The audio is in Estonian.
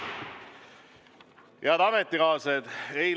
Head ametikaaslased!